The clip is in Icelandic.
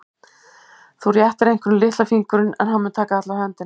Þú réttir einhverjum litla fingurinn en hann mun taka alla höndina.